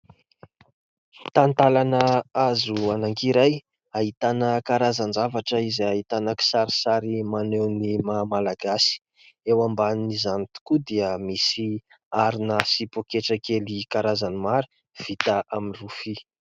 Talantalana hazo anankiray, ahitana karazan-javatra izay ahitana kisarisary maneho ny mahamalagasy. Eo ambanin'izany tokoa dia misy harona sy paoketra kely karazany maro vita amin'ny rofia.